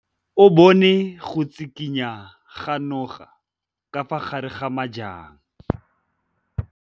O bone go tshikinya ga noga ka fa gare ga majang.